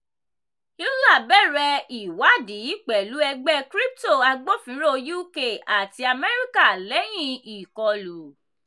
euler bẹ̀rẹ̀ ìwádìí pẹ̀lú ẹgbẹ́ crypto agbófinró uk àti amẹríkà lẹ́yìn ìkọlù.